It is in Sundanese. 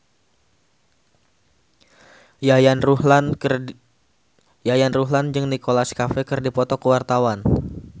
Yayan Ruhlan jeung Nicholas Cafe keur dipoto ku wartawan